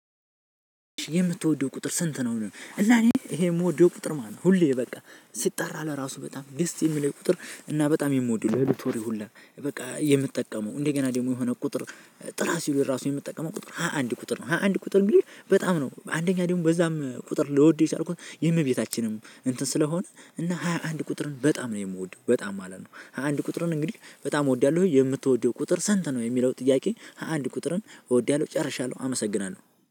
የምትወደው ቁጥር ስንት ነው? እና እኔ ይሄ የምወደው ቁጥር ማለት ነው። ሁሌ በቃ ሲጠራ ለራሱ በጣም ደስ የሚለን ቁጥር እና በጣም የምወደው ሎክቶሪ ሁላ በቃ የምጠቀመው እንደገና ደግሞ የሆነ ቁጥር ጥራ ሲሉ ራሱ የምትጠቀመው ቁጥር ሃያ አንድ ቁጥር ነው። ሃያ አንድ ቁጥር እንግዲህ በጣም ነው አንደኛ ደግሞ በዛም ቁጥር ልወድው የቻልኩት የእመቤታችንም እንትን ስለሆነ እና ሃያ አንድ ቁጥርን በጣም ነው የምወደው በጣም ማለት ነው። ሃያ አንድ ቁጥርን እንግዲህ በጣም እወዳለሁኝ። የምትወደው ቁጥር ሰንተን ነው? የሚለው ጥያቄ ሃያ አንድ ቁጥርን እወዳለሁ ጨርሻለሁ። አመሰግናለሁ